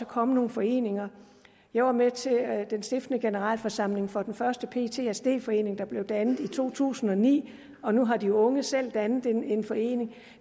kommet nogle foreninger jeg var med til den stiftende generalforsamling for den første ptsd forening der blev dannet i to tusind og ni og nu har de unge selv dannet en forening